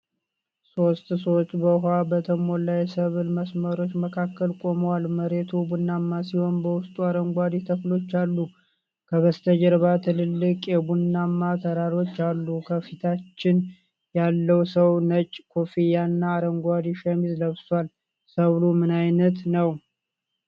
ሶስት ሰዎች በውሃ በተሞሉ የሰብል መስመሮች መካከል ቆመዋል። መሬቱ ቡናማ ሲሆን በውስጡ አረንጓዴ ተክሎች አሉ። ከበስተጀርባ ትላልቅ የቡናማ ተራሮች አሉ። ከፊታችን ያለው ሰው ነጭ ኮፍያና አረንጓዴ ሸሚዝ ለብሷል። ሰብሉ ምን ዓይነት ነው?